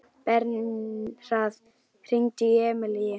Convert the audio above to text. Bernharð, hringdu í Emilíu.